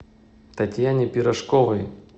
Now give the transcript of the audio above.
татьяне пирожковой